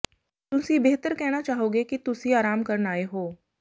ਤੁਸੀਂ ਬਿਹਤਰ ਕਹਿਣਾ ਚਾਹੋਗੇ ਕਿ ਤੁਸੀਂ ਆਰਾਮ ਕਰਨ ਆਏ ਹੋ